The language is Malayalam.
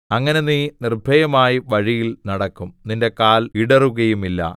അങ്ങനെ നീ നിർഭയമായി വഴിയിൽ നടക്കും നിന്റെ കാൽ ഇടറുകയുമില്ല